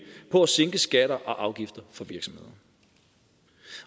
på at sænke skatter og afgifter for virksomheder